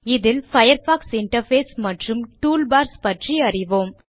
இதில் Firefox interface மற்றும் toolbars பற்றி அறிவோம்